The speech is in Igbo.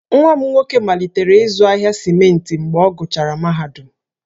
Nwanne m nwoke malitere ịzụ ahịa simenti mgbe ọ gụchara mahadum,